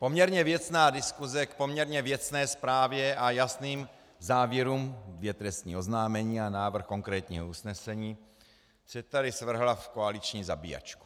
Poměrně věcná diskuse k poměrně věcné zprávě a jasným závěrům, dvě trestní oznámení a návrh konkrétního usnesení, se tady zvrhla v koaliční zabíjačku.